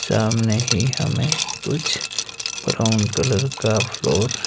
सामने ही हमें कुछ ब्राउन कलर का फ्लोर --